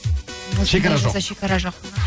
шекара жоқ